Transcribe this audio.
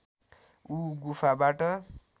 ऊ गुफाबाट